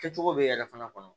Kɛcogo bɛ yɛrɛ fana kɔnɔ